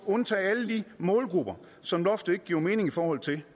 at undtage alle de målgrupper som loftet ikke giver mening i forhold til det